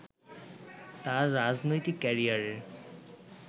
তার রাজনৈতিক ক্যারিয়ারের